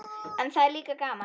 En það er líka gaman.